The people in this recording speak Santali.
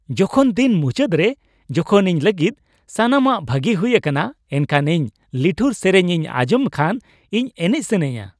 ᱡᱚᱠᱷᱚᱱ ᱫᱤᱱ ᱢᱩᱪᱟᱹᱫ ᱨᱮ ᱡᱚᱠᱷᱚᱱ ᱤᱧ ᱞᱟᱹᱜᱤᱫ ᱥᱟᱱᱟᱢᱟᱜ ᱵᱷᱟᱜᱤ ᱦᱩᱭ ᱟᱠᱟᱱᱟ ᱮᱱᱠᱷᱟᱱ ᱤᱧ ᱞᱤᱴᱷᱩᱨ ᱥᱮᱨᱮᱧ ᱤᱧ ᱟᱸᱡᱚᱢ ᱠᱷᱟᱱ ᱤᱧ ᱮᱱᱮᱡ ᱥᱟᱹᱱᱟᱹᱧᱟ ᱾